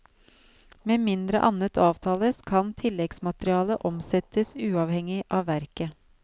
Med mindre annet avtales, kan tilleggsmaterialet omsettes uavhengig av verket.